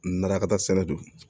Nara ka taa sɛnɛ don